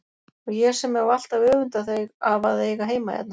Og ég sem hef alltaf öfundað þig af að eiga heima hérna!